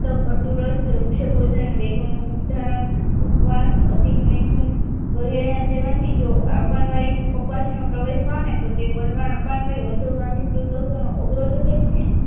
તો કટુરસ વૃક્ષો ભોજન વેગો નો ઉધારણ ઉપવાસ અધિક મેધઉન વગેરે ના સેવન થી જો આપનવાયુ કપાસી માં પ્રવેશ પામે તોતે વધુ માં વિસ્તૃત કોષો નો અવરોધ કરી ને